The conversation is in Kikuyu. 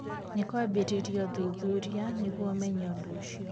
Nĩ kwambĩrĩirio ũthuthuria nĩguo ũmenye ũndũ ũcio.